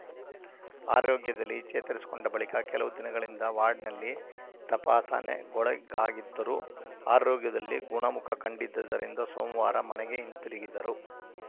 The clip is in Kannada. ಆರೋಗ್ಯದಲ್ಲಿ ಚೇತರಿಸಿಕೊಂಡ ಬಳಿಕ ಕೆಲವು ದಿನಗಳಿಂದ ವಾರ್ಡ್‌ನಲ್ಲಿ ತಪಾಸಣೆಗೊಳಗಾಗಿದ್ದರು ಆರೋಗ್ಯದಲ್ಲಿ ಗುಣಮುಖ ಕಂಡಿದ್ದದರಿಂದ ಸೋಮವಾರ ಮನೆಗೆ ಹಿಂತಿರುಗಿದರು